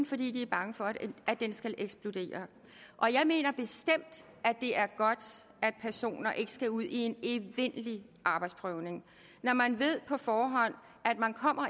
fordi de er bange for at den skal eksplodere og jeg mener bestemt det er godt at personer ikke skal ud i en evindelig arbejdsprøvning når man på forhånd